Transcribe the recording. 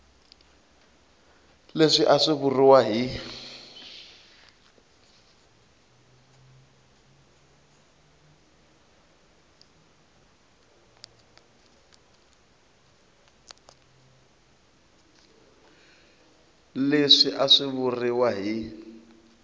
leswi a swi vuriwa hi